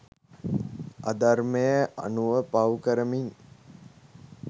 අධර්මය අනුව පව්කරමින්